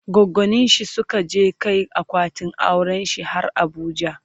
goggoninshi Suka je Kai akwatin aurenshi har abuja